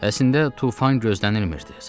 Əslində tufan gözlənilmirdi.